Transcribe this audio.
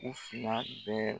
U fila bɛɛ